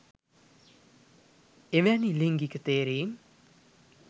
එවැනි ලිංගික තේරීම්